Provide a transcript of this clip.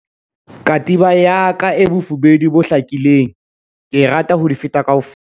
Katiba ya ka e bofubedu bo hlakileng ke e rata ho di feta kaofela.